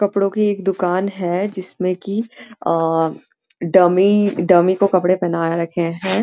कपड़ो की एक दुकान है जिस में की आ डमी डमी को कपड़े पहना रखे हैं।